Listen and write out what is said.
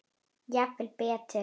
Jafnvel betur.